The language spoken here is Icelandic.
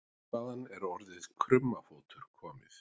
Hvaðan er orðið krummafótur komið?